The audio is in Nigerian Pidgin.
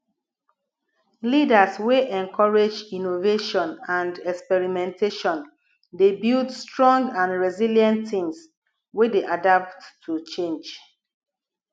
leaders wey encourage innovation and experimentation dey build strong and resilient teams wey dey adapt to change